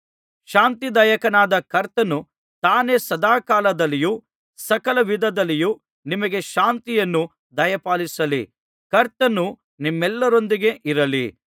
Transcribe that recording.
ಶಾಂತಿದಾಯಕನಾದ ಕರ್ತನು ತಾನೇ ಸದಾಕಾಲದಲ್ಲಿಯೂ ಸಕಲವಿಧದಲ್ಲಿಯೂ ನಿಮಗೆ ಶಾಂತಿಯನ್ನು ದಯಪಾಲಿಸಲಿ ಕರ್ತನು ನಿಮ್ಮೆಲ್ಲರೊಂದಿಗಿರಲಿ